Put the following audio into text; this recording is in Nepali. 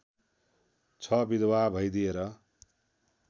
छ विधवा भइदिएर